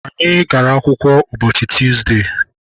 Anyị gara akwụkwọ ụbọchị tuuzdee.